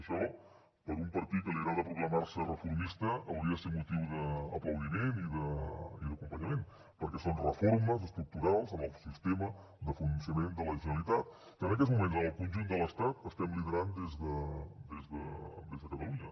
això per un partit que li agrada proclamar se reformista hauria de ser motiu d’aplaudiment i d’acompanyament perquè són reformes estructurals en el sistema de funcionament de la generalitat que en aquests moments en el conjunt de l’estat estem liderant des de catalunya